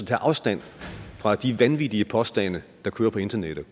tage afstand fra de vanvittige påstande der kører på internettet